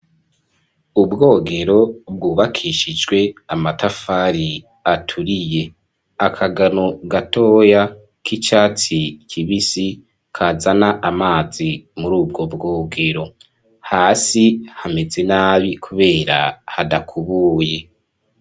Ubwogero bwubakishijwe amatafari aturiye akagano gatoya k'icatsi kibisi kazana amazi muri ubwo bwogero hasi hameze nabi kubera hadakubuye.